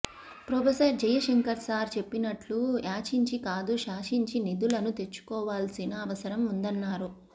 professor Jayashankar sir చెప్పినట్లు యాచించి కాదు శాసించి నిధులను తెచ్చుకోవాల్సిన అవసరం ఉందన్నారు